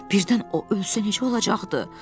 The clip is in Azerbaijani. Birdən o ölsə necə olacaqdı?